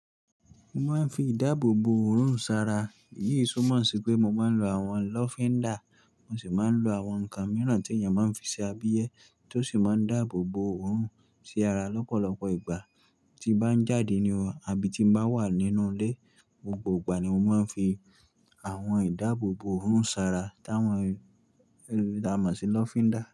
Mo máa ń fi ìdáàbò bo òórùn sára, èyí tunmo ṣi pé mo máa ń lo àwọn lọ́fíndà, mo sì máa ń lo àwọn nǹkan mìíràn tí èèyàn máa ń fi ṣe abiyẹ́ tó sì máa ń dáàbò bo òórùn sí ara lọ́pọ̀lọpọ̀ ìgbà tí bá ń jáde ni oo àbí tí n bá wà nínú ilé. Gbogbo ìgbà ni mo máa ń fi àwọn ìdáàbòbo òórùn sára táwọn, ti à máa sì lọ́fíndà.